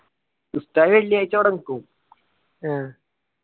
ഉസ്താദ് വെള്ളിയാഴ്ച്ച അവിടെ നിക്കും